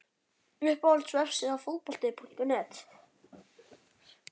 Uppáhalds vefsíða? Fótbolti.net